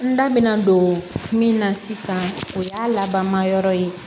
N da mɛna don min na sisan o y'a laban yɔrɔ ye